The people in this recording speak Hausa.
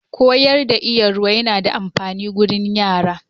Koyar da Iya Ruwa yana da amfani gurin yara.